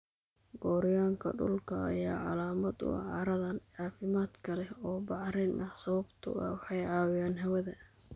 Gooryaanka dhulka ayaa calaamad u ah carrada caafimaadka leh oo bacrin ah sababtoo ah waxay caawiyaan hawada.